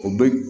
O bɛ